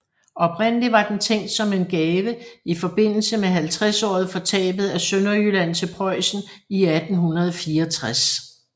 Oprindelig var den tænkt som en gave i forbindelse med 50året for tabet af Sønderjylland til Preussen i 1864